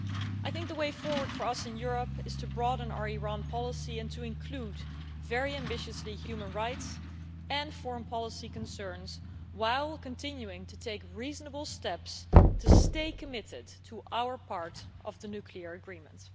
I think the way forward for us in Europe is to broaden our Iran policy and to include, very ambitiously, human rights and foreign policy concerns while continuing to take reasonable steps to stay committed to our part of the nuclear agreement.